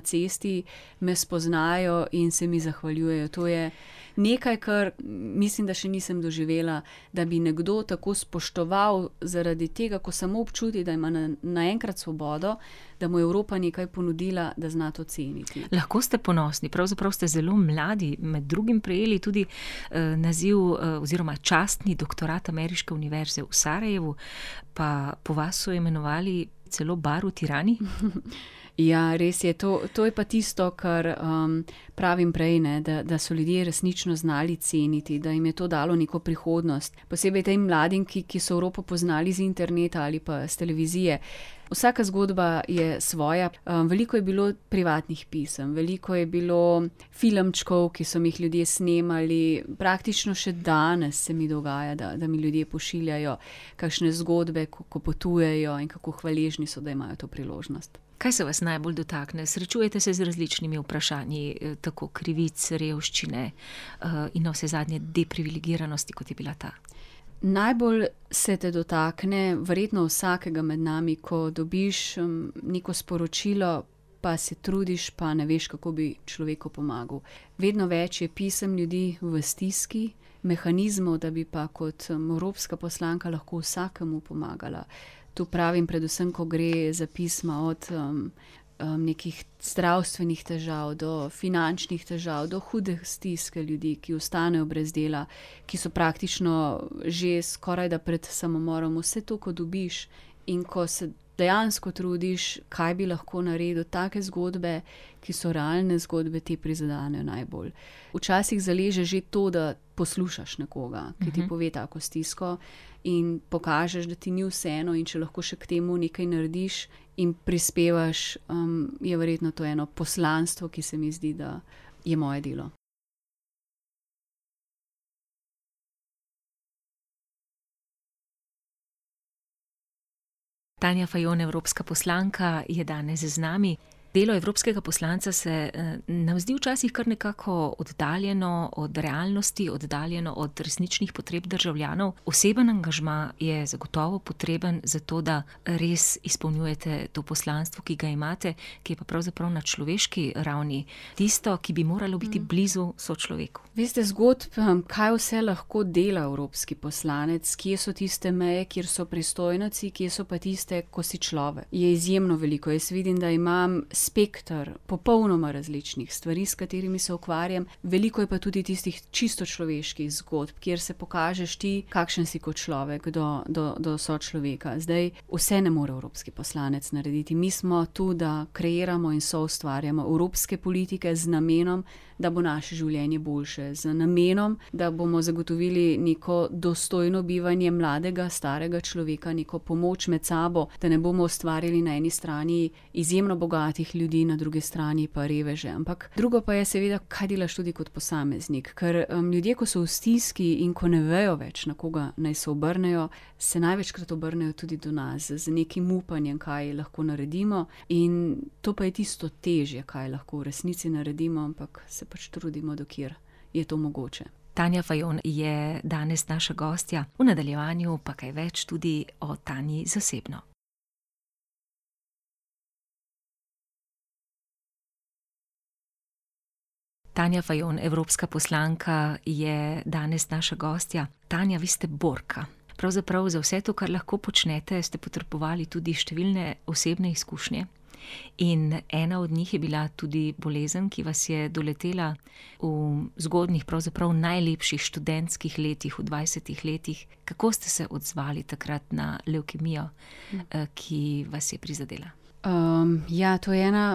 cesti, me spoznajo in se mi zahvaljujejo, to je nekaj, kar mislim, da še nisem doživela. Da bi nekdo tako spoštoval zaradi tega, ko samo občuti, da ima naenkrat svobodo, da mu je Evropa nekaj ponudila, da zna to ceniti. Lahko ste ponosni, pravzaprav ste zelo mladi med drugim prejeli tudi, naziv, oziroma častni doktorat Ameriške Univerze v Sarajevu . Pa po vas so imenovali celo bar v Tirani. Ja, res je to, to je pa tisto, kar, pravim prej, ne, da, da so ljudje resnično znali ceniti, da jim je to dalo neko prihodnost. Posebej tej mladim, ki, ki so Evropo poznali z interneta ali pa s televizije. Vsaka zgodba je svoja, veliko je bilo privatnih pisem, veliko je bilo filmčkov, ki so mi jih ljudje snemali, praktično še danes se mi dogaja, da, da mi ljudje pošiljajo kakšne zgodbe, ki potujejo, in kako hvaležni so, da imajo to priložnost. Kaj se vas najbolj dotakne? Srečujete se z različnimi vprašanji, tako krivic, revščine, in navsezadnje depriveligiranosti, kot je bila ta. Najbolj se te dotakne, verjetno vsakega med nami, ko dobiš, neko sporočilo, pa se trudiš pa ne veš, kako bi človeku pomagal. Vedno več je pisem ljudi v stiski, mehanizmov, da bi pa kot evropska poslanka lahko vsakemu pomagala, to pravim predvsem, ko gre za pisma od, nekih zdravstvenih težav, do finančnih težav, do hude stiske ljudi, ki ostanejo brez dela, ki so praktično že skorajda pred samomorom. Vse to, ko dobiš in ko se dejansko trudiš, kaj bi lahko naredil. Take zgodbe, ki so realne zgodbe, te prizadenejo najbolj. Včasih zaleže že to, da poslušaš nekoga, ki ti pove tako stisko. In pokažeš, da ti ni vseeno, in če lahko še k temu nekaj narediš in prispevaš, je verjetno to eno poslanstvo, ki se mi zdi, da je moje delo. Tanja Fajon, evropska poslanka je danes z nami. Delo evropskega poslanca se, nam zdi včasih kar nekako oddaljeno od realnosti, oddaljeno od resničnih potreb državljanov, osebni angažma je zagotovo potreben, zato da res izpolnjujte to poslanstvo, ki ga imate, ki je pa pravzaprav na človeški ravni tisto, ki bi moralo biti blizu sočloveku. Veste, zgodb, kaj vse lahko dela evropski poslanec, kje so tiste meje, kjer so pristojnosti, kje so pa tiste, ko si človek. Je izjemno veliko, jaz vidim, da imam spekter popolnoma različnih stvari, s katerimi se ukvarjam, veliko je pa tudi tistih čisto človeških zgodb, kjer se pokažeš ti, kakšen si kot človek do, do, do sočloveka, zdaj vse ne more evropski poslanec narediti. Mi smo to, da kreiramo in soustvarjamo evropske politike z namenom, da bo naše življenje boljše, z namenom, da bomo zagotovili neko dostojno bivanje mladega, starega človeka, neko pomoč med sabo, da ne bomo ustvarjali na eni strani izjemno bogatih ljudi, na drugi strani pa reveže, ampak drugo pa je seveda, kaj delaš tudi kot posameznik. Ker, ljudje, ki so v stiski in ko ne vejo več, na koga naj se obrnejo, se največkrat obrnejo tudi do nas, z nekim upanjem, kaj lahko naredimo, in to pa je tisto težje, kaj lahko v resnici naredimo, ampak se pač trudimo, do kjer je to mogoče. Tanja Fajon je danes naša gostja. V nadaljevanju pa kaj več tudi o Tanji zasebno. Tanja Fajon, evropska poslanka, je danes naša gostja. Tanja, vi ste borka. Pravzaprav za vse to, kar lahko počnete, ste potrebovali tudi številne osebne izkušnje in ena od njih je bila tudi bolezen, ki vas je doletela v zgodnjih, pravzaprav v najlepših, študentskih letih, v dvajsetih letih. Kako ste se odzvali takrat na levkemijo, ki vas je prizadela? ja to je ena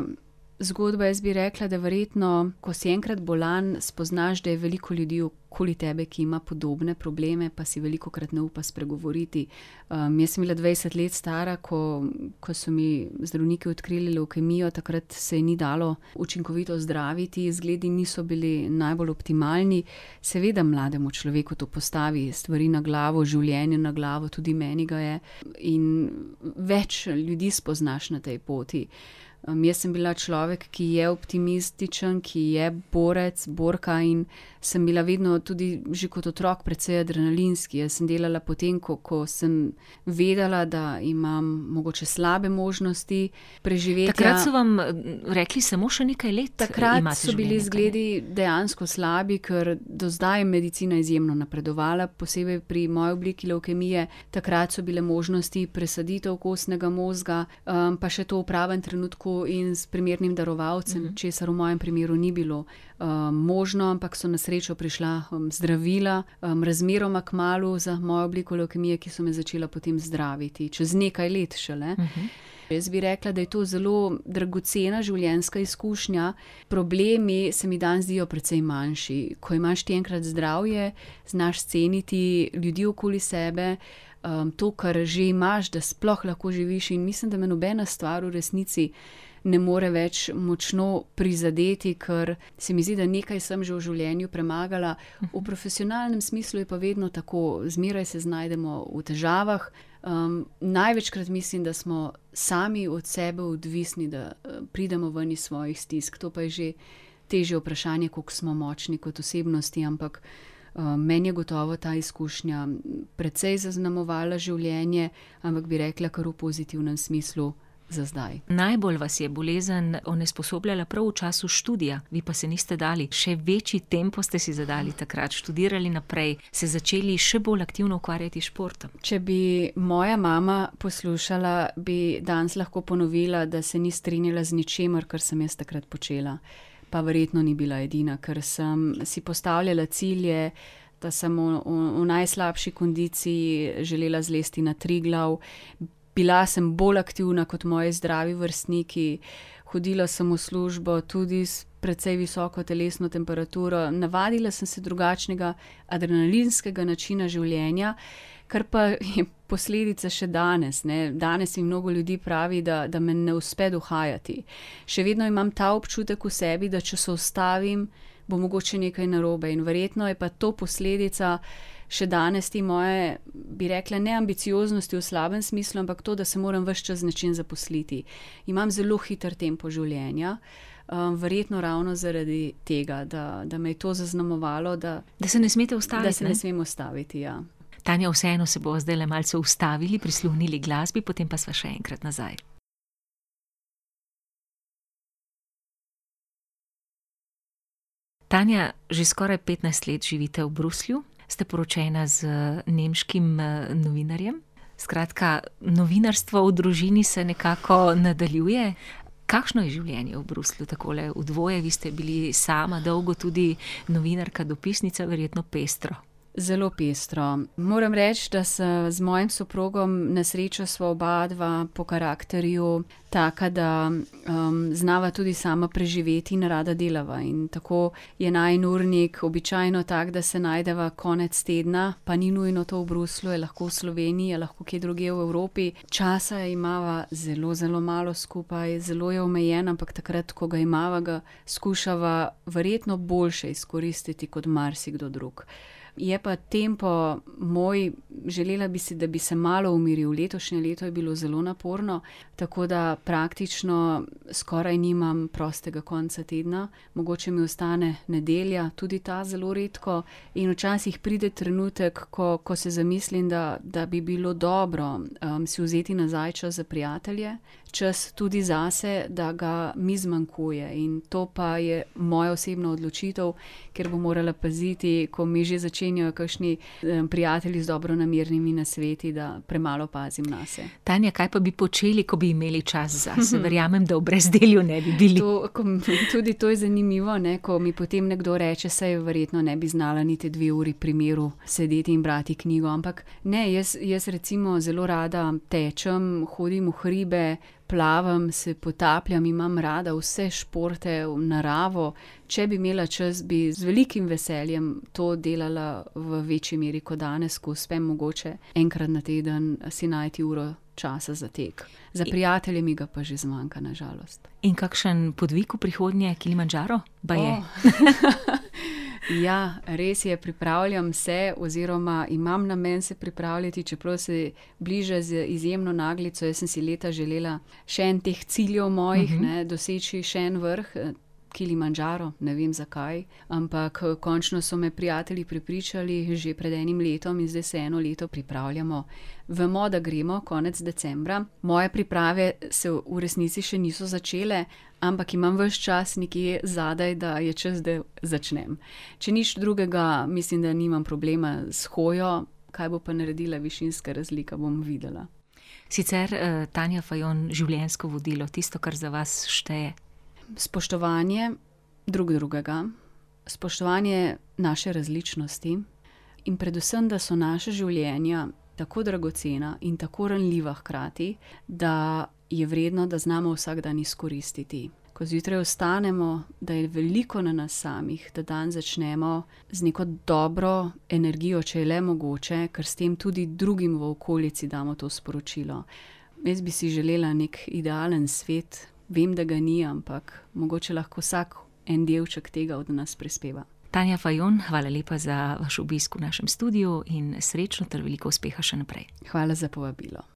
zgodba, jaz bi rekla, da verjetno, ko si enkrat bolan, spoznaš, da je veliko ljudi okoli tebe, ki ima podobne probleme, pa si velikokrat ne upa spregovoriti. jaz sem bila dvajset let stara, ko, ko so mi zdravniki odkrili levkemijo, takrat se je ni dalo učinkovito zdraviti, zgledi niso bili najbolj optimalni. Seveda mlademu človeku to postavi stvari na glavo, življenje na glavo, tudi meni ga je, in več ljudi spoznaš na tej poti. jaz sem bila človek, ki je optimističen, ki je borec, borka in sem bila vedno tudi že kot otrok precej adrenalinski. Jaz sem delala potem, ko, ko sem vedela, da imam mogoče slabe možnosti preživetja ... Takrat so vam rekli samo še nekaj let imate življenja. Takrat so bili izgledi dejansko slabi, ker do zdaj je medicina izjemno napredovala, posebej pri moji obliki levkemije, takrat so bile možnosti presaditev kostnega mozga, pa še to v pravem trenutku in s primernim darovalcem, česar v mojem primeru ni bilo. možno, ampak so na srečo prišla zdravila, razmeroma kmalu za mojo obliko levkemije, ki so me začela potem zdraviti, čez nekaj let šele. Jaz bi rekla, da je to zelo dragocena življenjska izkušnja, problemi se mi danes zdijo precej manjši, ko imaš ti enkrat zdravje, znaš ceniti ljudi okoli sebe, to, kar že imaš, da sploh lahko živiš, in mislim, da me nobena stvar v resnici ne more več močno prizadeti, ker se mi zdi, da nekaj sem že v življenju premagala, v profesionalnem smislu je pa vedno tako, zmeraj se znajdemo v težavah, največkrat mislim, da smo sami od sebe odvisni, da pridemo ven iz svojih stisk, to pa je že težje vprašanje, kako smo močni kot osebnosti, ampak, meni je gotovo ta izkušnja precej zaznamovala življenje, ampak bi rekla kar v pozitivnem smislu za zdaj. Najbolj vas je bolezen onesposobljala prav v času študija, vi pa se niste dali, še večji tempo ste si zadali takrat. Študirali naprej, se začeli še bolj aktivno ukvarjati s športom. Če bi moja mama poslušala, bi danes lahko ponovila, da se ni strinjala z ničimer, kar sem jaz takrat počela. Pa verjetno ni bila edina, ker sem si postavljala cilje, da sem v, v najslabši kondiciji želela zlesti na Triglav , bila sem bolj aktivna kot moji zdravi vrstniki, hodila sem v službo tudi s precej visoko telesno temperaturo. Navadila sem se drugačnega adrenalinskega načina življenja, kar pa posledice še danes, ne. Danes jim mnogo ljudi pravi, da, da me ne uspe dohajati. Še vedno imam ta občutek v sebi, da če se ustavim, bo mogoče nekaj narobe, in verjetno je pa to posledica še danes te moje, bi rekla, ne ambicioznosti v slabem smislu, ampak to da se moram ves čas z nečim zaposliti. Imam zelo hitro tempo življenja, verjetno ravno zaradi tega, da, da me je to zaznamovalo, da ... Da se ne smete ustaviti. Da se ne smem ustaviti, ja. Tanja, vseeno se bova zdajle malce ustavili, prisluhnili glasbi, potem pa sva še enkrat nazaj. Tanja, že skoraj petnajst let živite v Bruslju, ste poročena z nemškim, novinarjem, skratka, novinarstvo v družini se nekako nadaljuje. Kakšno je življenje v Bruslju takole v dvoje, vi ste bili sama dolgo tudi novinarka, dopisnica. Verjetno pestro. Zelo pestro, moram reči, da se z mojim soprogom, na srečo sva obadva po karakterju taka, da znala tudi sama preživeti in rada delava in tako je najin urnik običajno tak, da se najdeva konec tedna, pa ni nujno to v Bruslju, je lahko v Sloveniji, je lahko kje drugje v Evropi. Časa imava zelo zelo malo skupaj. Zelo je omejen, ampak takrat, ko ga imava, ga skušala verjetno boljše izkoristiti kot marsikdo drug. Je pa tempo moj, želela bi si, da bi se malo umiril, letošnje leto je bilo zelo naporno, tako da praktično skoraj nimam prostega konca tedna, mogoče mi ostane nedelja, tudi ta zelo redko, in včasih pride trenutek, ko, ko se zamislim, da, da bi bilo dobro, si vzeti nazaj čas za prijatelje, čas tudi zase, da ga mi zmanjkuje, in to pa je moja osebna odločitev, ker bom morala paziti, ko mi že začenjajo kakšni, prijatelji z dobronamernimi nasveti, da premalo pazim nase. Tanja, kaj pa bi počeli, ko bi imeli čas zase? Verjamem, da v brezdelju ne bi bili. To, tudi to je zanimivo, ne, ko mi potem nekdo reče, saj verjetno ne bi znala niti dve uri pri miru sedeti in brati knjigo, ampak ne, jaz, jaz recimo zelo rada tečem, hodim v hribe, plavam, se potapljam, imam rada vse športe, naravo, če bi imela čas, bi z velikim veseljem to delala v večji meri kot danes, ko uspem mogoče enkrat na teden si najti uro časa za tek. Za prijatelje mi ga pa že zmanjka, na žalost. In kakšen podvig v prihodnje? Kilimandžaro, baje? Oh ... Ja, res je, pripravljam se, oziroma imam namen se pripraviti, čeprav se bliža z izjemno naglico. Jaz sem si leta želela še en teh ciljev mojih, ne, doseči še en vrh. Kilimandžaro, ne vem, zakaj, ampak, končno so me prijatelji prepričali, že pred enim letom, zdaj se eno leto pripravljamo. Vemo, da gremo konec decembra. Moje priprave se v resnici še niso začele, ampak imam ves čas nekje zadaj, da je čas, da začnem. Če nič drugega, mislim, da nimam problema s hojo, kaj bo pa naredila višinska razlika, bom videla. Sicer, Tanja Fajon, življenjsko vodilo, tisto, kar za vas šteje. Spoštovanje drug drugega, spoštovanje naše različnosti in predvsem, da so naša življenja tako dragocena in tako ranljiva hkrati, da je vredno, da znamo vsak dan izkoristiti. Ko zjutraj vstanemo, da je veliko na nas samih. Da dan začnemo z neko dobro energijo, če je le mogoče. Ker s tem tudi drugim v okolici damo to sporočilo. Jaz bi si želela neki idealen svet. Vem, da ga ni, ampak mogoče lahko vsak en delček tega od nas prispeva. Tanja Fajon, hvala lepa za vaš obisk v našem studiu in srečno ter veliko uspeha še naprej. Hvala za povabilo.